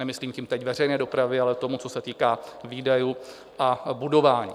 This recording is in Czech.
Nemyslím tím teď veřejné dopravy, ale toho, co se týká výdajů a budování.